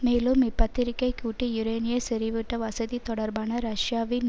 மேலும் இப்பத்திரிகை கூட்டு யுரேனிய செறிவூட்ட வசதி தொடர்பான ரஷ்யாவின்